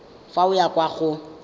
fa o ya kwa go